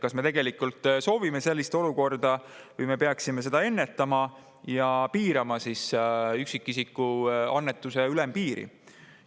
Kas me tegelikult soovime sellist olukorda või me peaksime seda ennetama ja piirama üksikisiku annetuse ülempiiri?